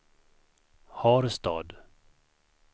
Harstad